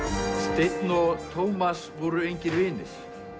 steinn og Tómas voru engir vinir